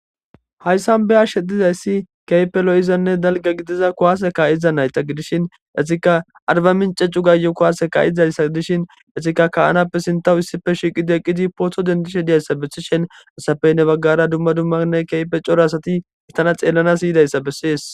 Haysan be'ashe didayse kehipe lo'izanne dalga gidiza kuwase ka'iza nayta gidishin qaseka arbaminche cugayo kuwase ka'za gidishin hesika ka'anape issipe shiiqidi poto dendishe